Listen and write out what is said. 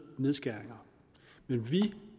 nedskæringer men vi